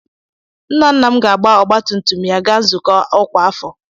Nna nna m ga-agba ọgbatumtum ya gaa nzukọ ọkwa afọ.